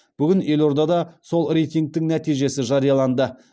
бүгін елордада сол рейтингтің нәтижесі жарияланды